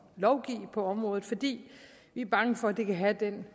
lovgive på området fordi vi er bange for at det kan have den